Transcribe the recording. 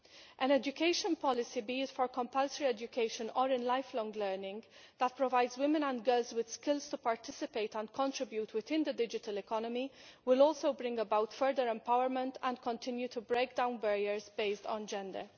An education policy be it for compulsory education or in lifelong learning that provides women and girls with skills to participate and contribute within the digital economy will also bring about further empowerment and continue to break down barriers based on gender.